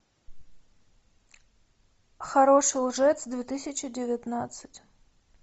хороший лжец две тысячи девятнадцать